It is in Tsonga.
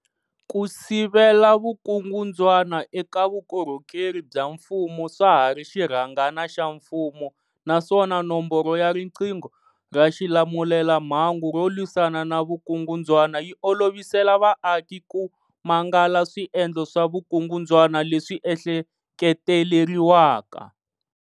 Ku sivela vukungundzwana eka vukorhokeri bya mfumo swa ha ri xirhangana xa mfumo naswona Nomboro ya riqingho ra xilamulelamhangu ro lwisana na vukungundzwana yi olovisela vaaki ku mangala swiendlo swa vukungundzwana leswi ehleketeleriwaka.